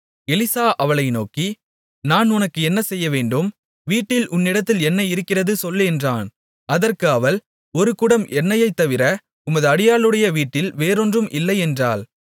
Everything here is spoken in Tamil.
எலிசா அவளை நோக்கி நான் உனக்கு என்ன செய்யவேண்டும் வீட்டில் உன்னிடத்தில் என்ன இருக்கிறது சொல் என்றான் அதற்கு அவள் ஒரு குடம் எண்ணெயைத் தவிர உமது அடியாளுடைய வீட்டில் வேறொன்றும் இல்லை என்றாள்